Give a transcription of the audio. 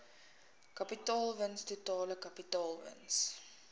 kapitaalwins totale kapitaalwins